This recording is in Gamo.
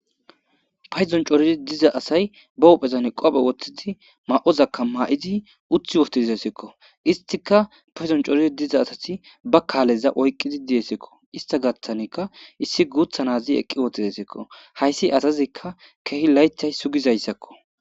payzon corizi diza asay ba uphezan qophe woththidi ma7ozakka maa7idi uthi wotizesikko istika payzon coorzi diza asati ba kaaleza oyqqidi diyesikko ista gaththanekka issi guutha nazi eqqi wottizesikko hayssi asazikka kehi laythay sugizayssakko